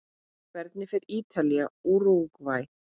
Hvernig fer Ítalía- Úrúgvæ?